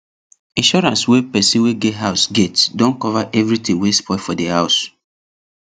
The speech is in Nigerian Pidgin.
insurance wey person wey get house get don cover everything wey spoil for the house